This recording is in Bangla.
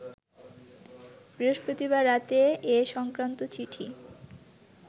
বৃহস্পতিবার রাতে এ সংক্রান্ত চিঠি